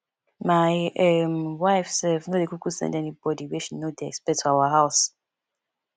my um wife self no dey kuku send anybody wey she no dey expect for our house